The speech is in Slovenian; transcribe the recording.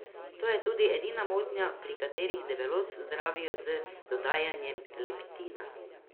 To je tudi edina motnja, pri kateri debelost zdravijo z dodajanjem leptina.